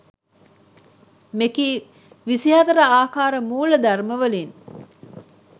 මෙකී 24 ආකාර මූලධර්ම වලින්